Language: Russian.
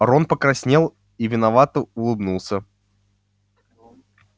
рон покраснел и виновато улыбнулся